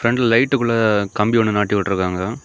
ரெண்டு லைட் உள்ள கம்பி ஒன்னு நாட்டி விட்டு இருக்காங்க.